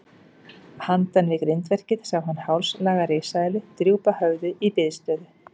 Handan við grindverkið sá hann hálslanga risaeðlu drúpa höfði í biðstöðu.